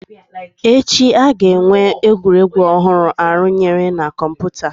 Echi, a ga-enwe egwuregwu ọhụrụ arụnyere na kọmpụta